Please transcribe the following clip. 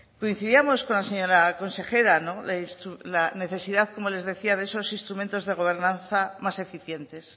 coincidíamos con la señora consejera en la necesidad como les decía de esos instrumentos de gobernanza más eficientes